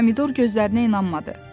Pomidor gözlərinə inanmadı.